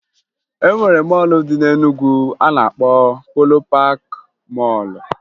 E nwere mọọlụ dị na Enugwu a na-akpọ Polo Paakị Mọọlụ